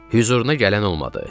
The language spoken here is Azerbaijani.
Hüzuruna gələn olmadı.